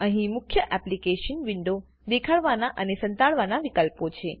અહી મુખ્ય એપ્લીકેશન વિન્ડોને દેખાડવાના અને સંતાડવાના વિકલ્પો છે